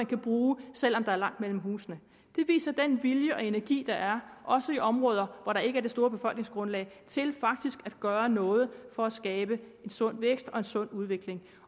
kan bruges selv om der er langt mellem husene det viser den vilje og energi der er også i områder hvor der ikke er det store befolkningsgrundlag til faktisk at gøre noget for at skabe en sund vækst og en sund udvikling